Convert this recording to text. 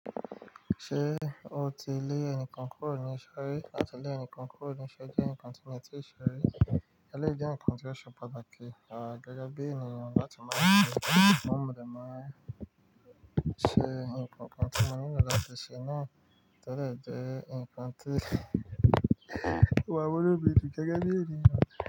Ṣé o ti lé ẹnìkan kúrò ní ìṣerí làti lé ẹnìkan kúrò ní iṣẹ́ jẹ́ ǹkan tí mo tí ì ṣe rí eléyìí jẹ́ ǹkan tí ó ṣe pàtàkì, à gẹgẹbi ènìyàn láti máa ṣe sugbon modẹ máa ṣe ǹkan kan tí màá nílò láti ṣe náà todẹ̀ jẹ́ ǹkan tí oma mun inu mi dun gẹ́gẹ́ bí ènìyàn.